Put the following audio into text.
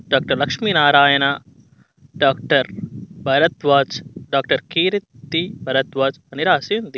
Doctor Lakshminarayana doctor Bharadwaj doctor Keerthi Bharadwaj అని రాసి ఉంది.